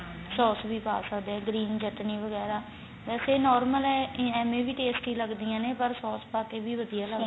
sauce ਵੀ ਪਾ ਸਕਦੇ ਆ green ਚਟਣੀ ਵਗੈਰਾ ਵੇਸੇ normal ਏਵੈ ਵੀ tasty ਲੱਗਦੀਆਂ ਨੇ ਪਰ ਸੋਸ ਪਾ ਕੇ ਵੀ ਵਧੀਆ